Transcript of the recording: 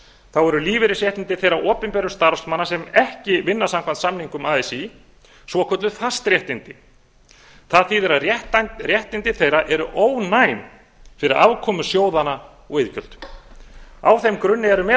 þá eru lífeyrisréttindi þeirra opinberu starfsmanna sem ekki vinna samkvæmt samningum así svokölluð fastréttindi það þýðir að réttindi þeirra eru ónæm fyrir afkomu sjóðanna og iðgjöldin á þeim grunni eru meðal